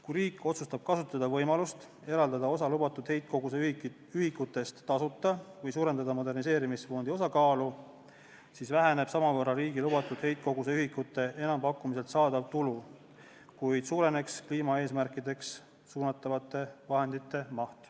Kui riik otsustab kasutada võimalust eraldada osa lubatud heitkoguse ühikuid tasuta või suurendada moderniseerimisfondi osakaalu, siis väheneb samavõrra riigi lubatud heitkoguse ühikute enampakkumisel saadav tulu, kuid suureneb kliimaeesmärkide saavutamisse suunatavate vahendite maht.